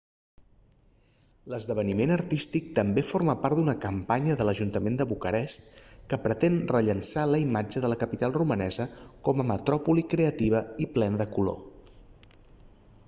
l'esdeveniment artístic també forma part d'una campanya de l'ajuntament de bucarest que pretén rellançar la imatge de la capital romanesa com a metròpoli creativa i plena de color